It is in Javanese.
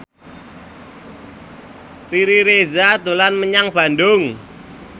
Riri Reza dolan menyang Bandung